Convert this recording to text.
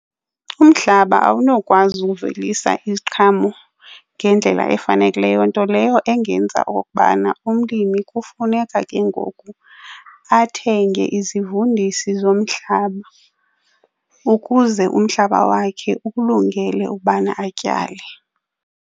Umhlaba awunokwazi uvelisa iziqhamo ngendlela efanelekileyo, nto leyo engenza okokubana umlimi kufuneka ke ngoku athenge izivundisi zomhlaba ukuze umhlaba wakhe ukulungele ukubana atyale.